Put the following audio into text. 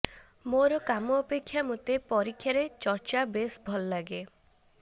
ମୋର କାମ ଅପେକ୍ଷା ମୋତେ ପରୀକ୍ଷା ପେ ଚର୍ଚ୍ଚା ବେଶ୍ ଭଲଲାଗେ